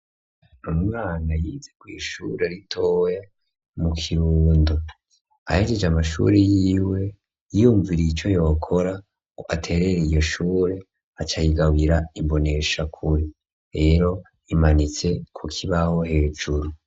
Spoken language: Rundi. Umwana yize kw'ishure ritoya mu Kirundo, ahejeje amashuri yiwe yiyumviriye ico yokora ngo aterere iryo shure aca ayigabira imboneshakure, rero imanitse ku kibaho hejuru.